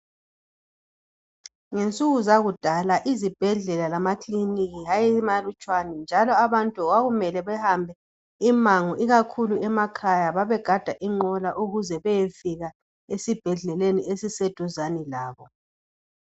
Ngensuku zakudala izibhedlela lamakilinika ayemalutshwane njalo abantu kwakumele behambe umango ikakhulu emakhaya babegada inqola ukuze bayefika esibhedlela esiseduzane labo.